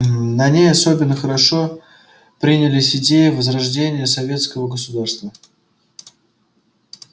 на ней особенно хорошо принялись идеи возрождения советского государства